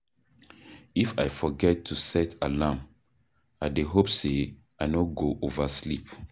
If I forget to set alarm, I dey hope sey I no go oversleep.